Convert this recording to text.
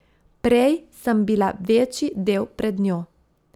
Prej sem bila večji del pred njo.